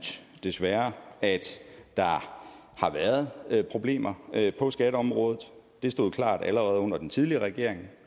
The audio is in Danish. desværre at der har været problemer på skatteområdet det stod klart allerede under den tidligere regering